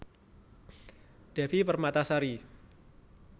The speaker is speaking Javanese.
Devi Permatasari